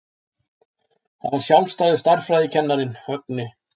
Það var sjálfur stærðfræðikennarinn, Högni.